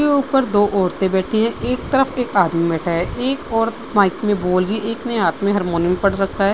के ऊपर दो औरतें बैठी है। एक तरफ एक आदमी बैठा है। एक औरत माइक में बोल रही है एक ने हाथ में हारमोनियम पर रखा है।